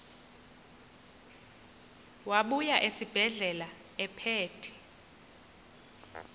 wabuya esibedlela ephethe